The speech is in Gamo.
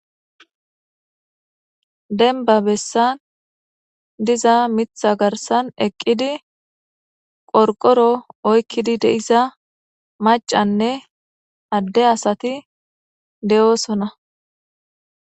Denba bessan diza mitha garsan eqqidi qorqoro oykkidi deiza macanne adde asati de'oosona.